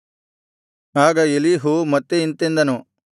ಆಗ ಎಲೀಹು ಮತ್ತೆ ಇಂತೆಂದನು